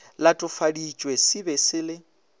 latofaditšwe se be se le